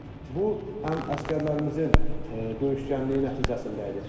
Bu həm əsgərlərimizin döyüşkənliyi nəticəsində idi.